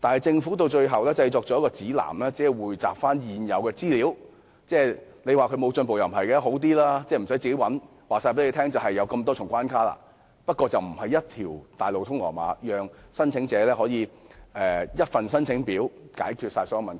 政府此舉雖然進步了，告知市民有多少重關卡，無須自行尋找這方面的資料，卻非一條大路通羅馬，讓申請者只須填寫一份申請表便解決所有問題。